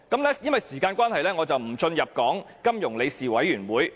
由於時間關係，我不討論金融穩定理事會。